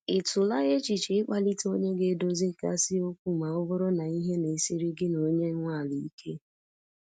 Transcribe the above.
Ị tụla echiche i kpalite onye ga edozi ga si okwu ma ọ bụrụ na ihe na-esiri gị na onye nwe ala ike?